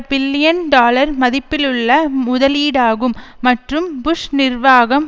billion dollar மதிப்புள்ள முதலீடாகும் மற்றும் புஷ் நிர்வாகம்